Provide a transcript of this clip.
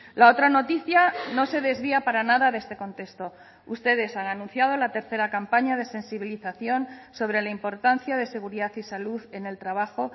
la otra noticia no se desvía para nada de este contexto ustedes han anunciado la tercera campaña de sensibilización sobre la importancia de seguridad y salud en el trabajo